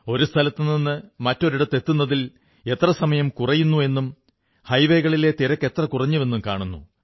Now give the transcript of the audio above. ഒരു സ്ഥലത്തുനിന്നു മറ്റൊരിടത്തെത്തുന്നതിൽ സമയം എത്ര കുറയുന്നു എന്നും ഹൈവേകളിലെ തിരക്കെത്ര കുറഞ്ഞുവെന്നും കാണുന്നു